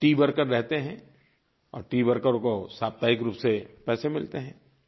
tea worker रहते हैं और टीवर्कर को साप्ताहिक रूप से पैसे मिलते हैं